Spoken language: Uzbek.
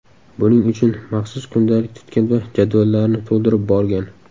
Buning uchun maxsus kundalik tutgan va jadvallarni to‘ldirib borgan.